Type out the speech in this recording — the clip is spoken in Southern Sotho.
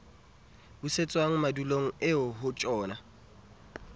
busetswang madulong eo ho tjhona